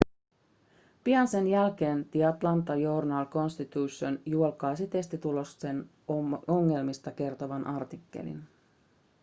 pian sen jälkeen the atlanta journal-constitution julkaisi testitulosten ongelmista kertovan artikkelin